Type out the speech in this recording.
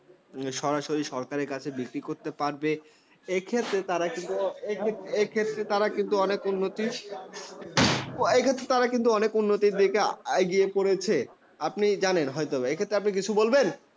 সরাসরি সরকারের কাছে বিক্রি করতে পারবে। এক্ষেত্রে তারা কিন্তু এক্ষেত্রে তারা কিন্তু অনেক উন্নতির, এক্ষেত্রে তারা কিন্তু অনেক উন্নতি দেখে এগিয়ে পড়েছে। আপনি জানেন হয়তো এ ক্ষেত্রে আপনি কিছু বলবেন?